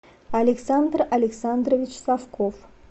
александр александрович совков